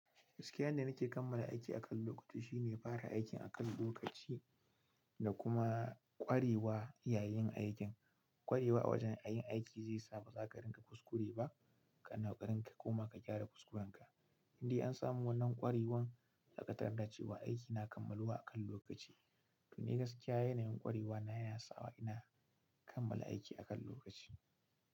Gaskiyan yanda nike kammala aiki akan lokaci shine fara aikin akan lokaci da kuma ƙwarewa yayin aikin. Ƙwarewa a wajan yin aiki zai sa ba za ka rinƙa kuskure ba, ka na ƙoƙarin ka koma ka gyara kuskurenka. Indai an samu wannan ƙwarewan, zaka tarda da cewa aiki na kammaluwa akan lokaci. Ni gaskiya yanayin ƙwarewa na yana sawa ina kammala aiki a kan lokaci.